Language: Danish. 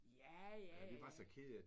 Ja ja ja ja